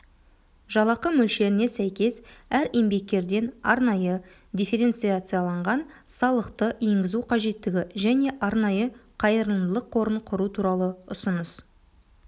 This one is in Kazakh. жалақы мөлшеріне сәйкес әр еңбеккерден арнайы дифференциацияланған салықты енгізу қажеттігі және арнайы қайырылымдылық қорын құру туралы ұсыныс